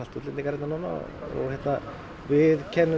útlendingar hérna núna við kennum